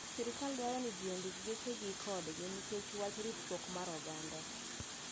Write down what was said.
Sirkal dwaro ni ji ondik gechagi kodgi nikech wach ritruok mar oganda.